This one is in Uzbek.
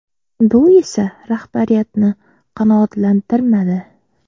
Bu esa rahbariyatni qanoatlantirmadi.